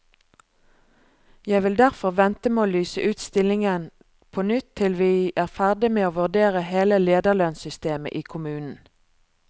Jeg vil derfor vente med å lyse ut stillingen på nytt til vi er ferdig med å vurdere hele lederlønnssystemet i kommunen.